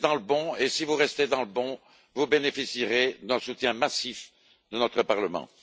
Vous êtes dans le bon, et si vous restez dans le bon, vous bénéficierez d'un soutien massif de notre Parlement.